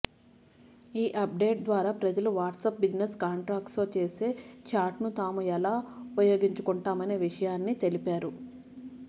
ఈ update ద్వారా ప్రజలు వాట్సాప్ బిజినెస్ కాంటాక్ట్స్తో చేసే చాట్ను తాము ఎలా ఉపయోగించుకుంటామనే విషయాన్నే తెలిపారు